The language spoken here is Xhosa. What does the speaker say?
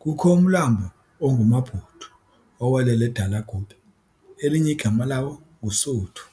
kukho umlambo onguMabudu owelela eDelagube, elinye igama lawo nguSuthu.